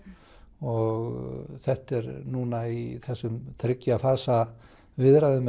og þetta er núna í þessum þriggja fasa viðræðum